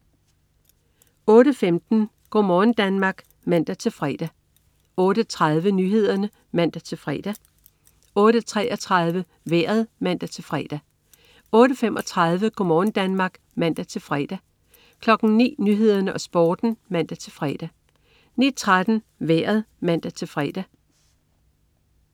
08.15 Go' morgen Danmark (man-fre) 08.30 Nyhederne (man-fre) 08.33 Vejret (man-fre) 08.35 Go' morgen Danmark (man-fre) 09.00 Nyhederne og Sporten (man-fre) 09.13 Vejret (man-fre)